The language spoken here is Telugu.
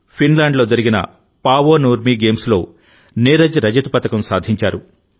ఫిన్లాండ్లో జరిగిన పావో నుర్మీ గేమ్స్లో నీరజ్ రజత పతకం సాధించారు